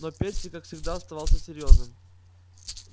но перси как всегда оставался серьёзным